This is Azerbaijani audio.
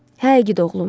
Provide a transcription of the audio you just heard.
Hə, igid oğlum.